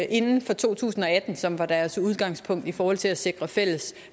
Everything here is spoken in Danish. inden for to tusind og atten som var deres udgangspunkt i forhold til at sikre fælles